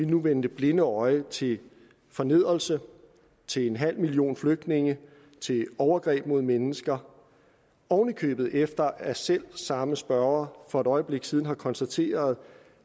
nu vende det blinde øje til fornedrelse til en halv million flygtninge til overgreb mod mennesker oven i købet efter at selv samme spørger for et øjeblik siden har konstateret